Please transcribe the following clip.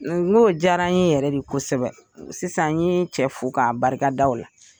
NK'o diyara ye yɛrɛ de kosɛbɛ sisan n ye cɛ fo k'a barikada O la